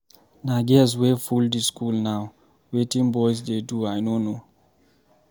Na girls wey full the school now, wetin boys dey do I no know